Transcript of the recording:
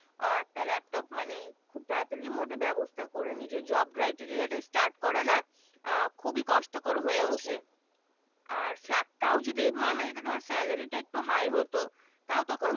আর তার laptop মানে খুব তারাতারি মধ্যে ব্যবস্থা করে নিজের job criteria তা Start করা না আহ খুবি কষ্ট কর হয়ে উঠে আর তাও যদি মানা যেতো ধর Salary তা একটু High হতো তাও তখন